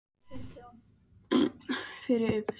Ég eyði næsta korterinu í að úthugsa felustað fyrir byssuna